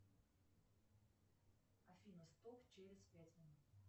афина стоп через пять минут